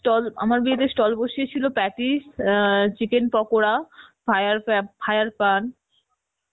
stall আমার বিয়েতে stall বসিয়েছিল patties অ্যাঁ chicken পকরা fire পা~ fire পান